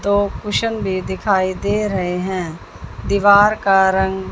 दो क्वेश्चन भी दिखाई दे रहे हैं दीवार का रंग--